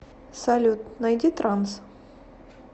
салют найди транс